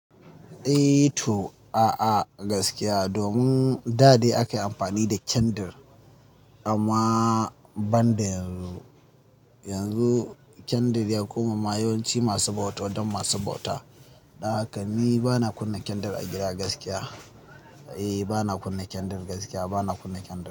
Eh to, a'a gaskiya domin da dai aka yi amfani da kyadir amma ban da yanzu yanzu candle ya koma ma yawanci masu bauta don masu bauta. Dan hakani bana kunna candle a gida gaskiya. Eh bana kunna candle gaskiya bana kunna candle.